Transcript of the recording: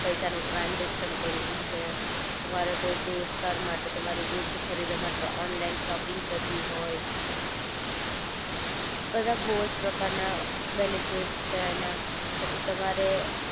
પૈસા નું ટ્રાનજેક્શન કરવું છે તમારે કોઈ દોસ્તાર માટે તમારે ગિફ્ટ ખરીદવા માટે ઓનલાઇન શોપિંગ કરવી હોય બધા બોવ જ પ્રકાર ના બેનિફિટસ છે એના